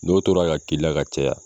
N'o tora ka k'i la ka caya